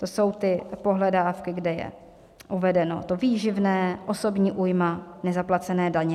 To jsou ty pohledávky, kde je uvedeno to výživné, osobní újma, nezaplacené daně.